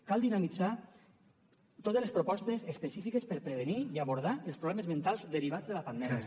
cal dinamitzar totes les propostes específiques per prevenir i abordar els problemes mentals derivats de la pandèmia